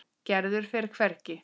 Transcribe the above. Gerður fer hvergi.